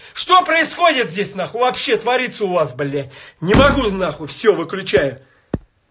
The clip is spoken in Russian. что происходит вообще творится у вас блять не могу все выключаю